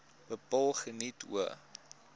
bepaal geniet hoë